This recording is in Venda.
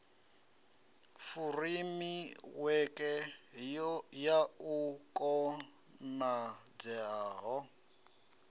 furemiweke ya u konadzea ha